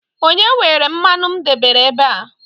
onye were mmanụ m debere ebe a?